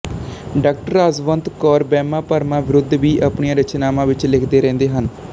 ਡਾ ਰਾਜਵੰਤ ਕੌਰ ਵਹਿਮਾਂ ਭਰਮਾਂ ਵਿਰੁੱਧ ਵੀ ਆਪਣੀਆਂ ਰਚਨਾਵਾਂ ਵਿੱਚ ਲਿਖਦੇ ਰਹਿੰਦੇ ਹਨ